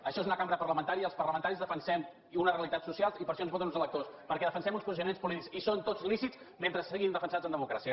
això és una cambra parlamentària i els par·lamentaris defensem una realitat social i per això ensvoten uns electors perquè defensem uns posiciona·ments polítics i són tots lícits mentre siguin defensats en democràcia